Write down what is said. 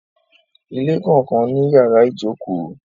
Ilé kànkan ní yàrá-ìjòkó